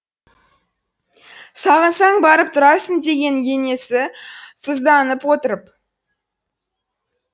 сағынсаң барып тұрарсың деген енесі сызданып отырып